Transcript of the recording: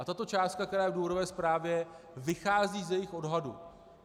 A tato částka, která je v důvodové zprávě, vychází z jejich odhadu.